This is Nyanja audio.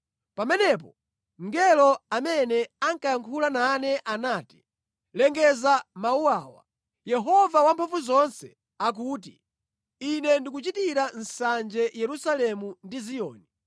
Pamenepo mngelo amene ankayankhula nane anati, “Lengeza mawu awa: Yehova Wamphamvuzonse akuti, ‘Ine ndikuchitira nsanje Yerusalemu ndi Ziyoni,